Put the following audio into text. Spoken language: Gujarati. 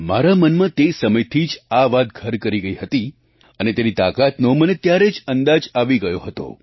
મારા મનમાં તે સમયથી આ વાત ઘર કરી ગઈ છે અને તેની તાકાતનો મને ત્યારે જ અંદાજ આવી ગયો હતો